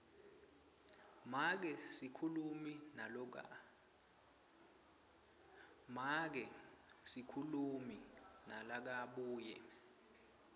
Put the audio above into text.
make sikhulumi nalokabuye